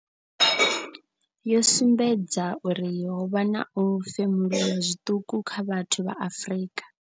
yY sumbedza uri ho vha na u femuluwa zwiṱuku kha vhathu vha Afrika.